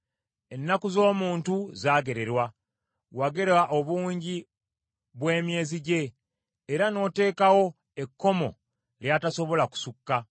Ennaku z’omuntu zaagererwa, wagera obungi bw’emyezi gye era n’oteekawo ekkomo ly’atasobola kusukka.